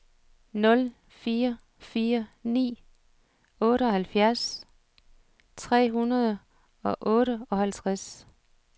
nul fire fire ni otteoghalvfjerds tre hundrede og otteoghalvtreds